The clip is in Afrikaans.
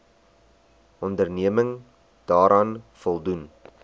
onderneming daaraan voldoen